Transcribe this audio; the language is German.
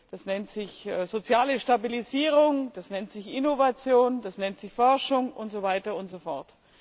das nennt sich soziale Stabilisierung, das nennt sich Innovation, das nennt sich Forschung und so weiter und so fort.